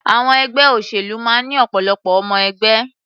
Àwọn ẹgbẹ́ òṣèlú máa ń ní ọ̀pọ̀lọpọ̀ ọmọ-ẹgbẹ́.